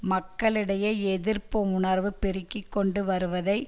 மக்களிடையே எதிர்ப்பு உணர்வு பெருகி கொண்டு வருவதை